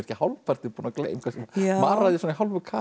hálfpartinn búinn að gleyma maraði svona í hálfu kafi